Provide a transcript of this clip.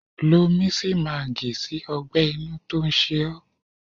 Lo misimagi sí ọgbẹ-inú tó ń ṣe ó.